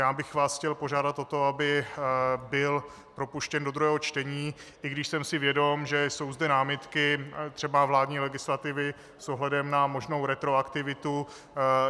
Já bych vás chtěl požádat o to, aby byl propuštěn do druhého čtení, i když jsem si vědom, že jsou zde námitky třeba vládní legislativy s ohledem na možnou retroaktivitu.